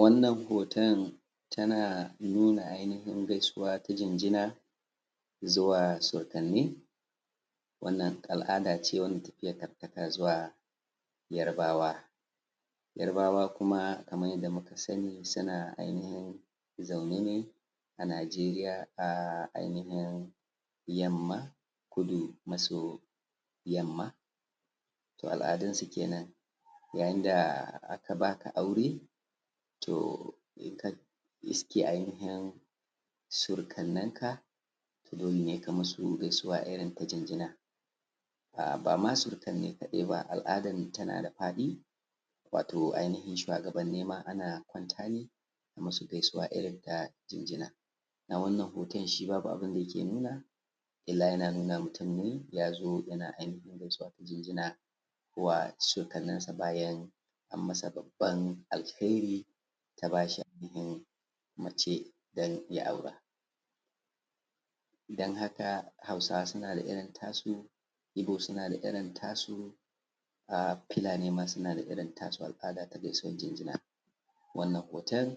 wannan hoton tana nuna ainihin gaisuwa ta jinjina zuwa sodanni wannan al’ada ce wanda tafiyar take zuwa yarbawa yarbawa kuma kaman yadda muka sani su na ainihin zaune ne a najeriya a ainihin yamma kudu maso yamma to al’adunsu kenan yayin da aka ba ka aure toh suke ainihin riske surukan na ka dole ne ka musu gaisuwa irin ta jinjina ba ma surukan ne kaɗai ba al’ada tana da faɗi wato ainihin shuwagabanin ma ana kwanta ne a musu gaisuwa irin ta jinjina na wannan hoton shi babu abunda yake nuna illa yana nuna mutum ne ya zo yana ainihin gaisuwa ta jinjina wa surukaninsa bayan an masa babban alherin ta ba shi ainihin mace don ya aura don haka hausawa suna da irin tasu ibo suna da irin tasu fulani ma suna da irin tasu al’ada ta gaisuwar jinjina wannan hoto